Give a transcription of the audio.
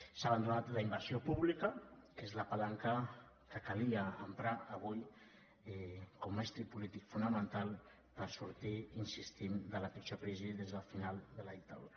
s’ha abandonat la inversió pública que és la palanca que calia emprar avui com estri polític fonamental per sortir hi insistim de la pitjor crisi des del final de la dictadura